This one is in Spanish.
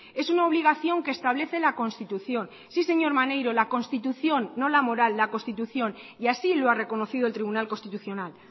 es una obligación que establece la constitución sí señor maneiro la constitución no la moral la constitución y así lo ha reconocido el tribunal constitucional